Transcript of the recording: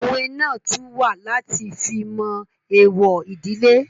Òwe náà tún wà láti fi mọ èèwọ̀ ìdílé